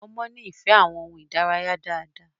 ọmọ ní ìfẹ àwọn ohùn idanilaraya dá dá